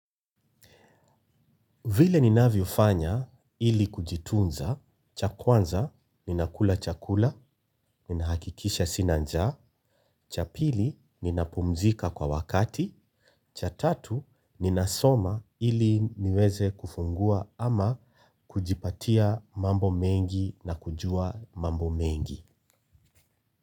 Vile ninavyofanya ili kujitunza, cha kwanza ninakula chakula, ninahakikisha sina njaa. Cha pili, ninapumzika kwa wakati, cha tatu, ninasoma ili niweze kufungua ama kujipatia mambo mengi na kujua mambo mengi.